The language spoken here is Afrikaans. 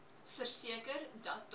bo middel liggende